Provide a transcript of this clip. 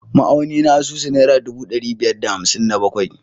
Ma’auni na asusu naira ɗubu ɗari biyar da hamsin da bakwai